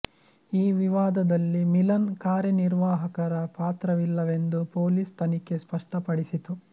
ಈ ವಿವಾದದಲ್ಲಿ ಮಿಲನ್ ಕಾರ್ಯನಿರ್ವಾಹಕರ ಪಾತ್ರವಿಲ್ಲವೆಂದು ಪೋಲಿಸ್ ತನಿಖೆ ಸ್ಪಷ್ಟ ಪಡಿಸಿತು